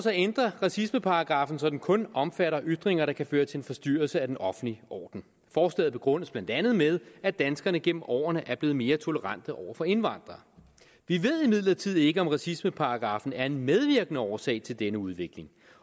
at ændre racismeparagraffen så den kun omfatter ytringer der kan føre til en forstyrrelse af den offentlige orden forslaget begrundes blandt andet med at danskerne gennem årene er blevet mere tolerante over for indvandrere vi ved imidlertid ikke om racismeparagraffen er en medvirkende årsag til denne udvikling